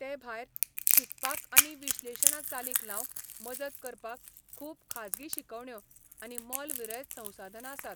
तेभायर, शिकपाक आनी विश्लेशणां चालीक लावंक मजत करपाक खूब खाजगी शिकवण्यो आनी मोलविरयत संसाधनां आसात .